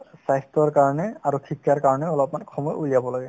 স্বাস্থ্যৰ কাৰণে আৰু শিক্ষাৰ কাৰণে অলপমান সময় উলিয়াব লাগে